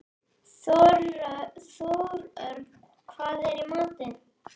Þórörn, hvað er í matinn?